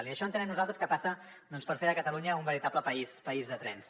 i això entenem nosaltres que passa doncs per fer de catalunya un veritable país de trens